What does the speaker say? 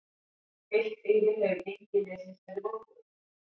Heilt yfir hefur gengi liðsins verið vonbrigði.